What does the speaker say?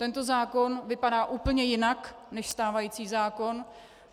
Tento zákon vypadá úplně jinak než stávající zákon.